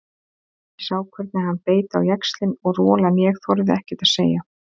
Ég sá hvernig hann beit á jaxlinn og rolan ég þorði ekkert að segja.